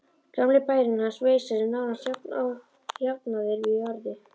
Gamli bærinn hans, Veisa, er nánast jafnaður við jörðu.